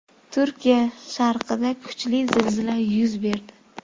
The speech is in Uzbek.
Turkiya sharqida kuchli zilzila yuz berdi.